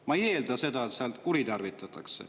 Ma ei eelda, et seda kuritarvitatakse.